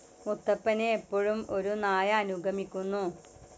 മുത്തപ്പനെ എപ്പോഴും ഒരു നായ അനുഗമിക്കുന്നു.